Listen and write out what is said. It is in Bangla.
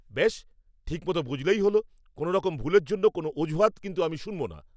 বেশ, ঠিক মতো বুঝলেই ভালো। কোনোরকম ভুলের জন্য কোনও অজুহাত আমি কিন্তু শুনবো না।